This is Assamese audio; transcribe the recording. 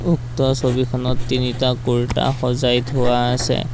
উক্ত ছবিখনত তিনিটা কুৰ্টা সজাই থোৱা আছে।